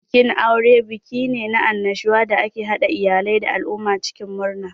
Bikin aure buki ne na annashuwa da ke haɗa iyalai da al'umma cikin murna.